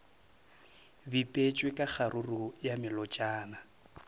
bipetšwe ka kgaruru ya melotšana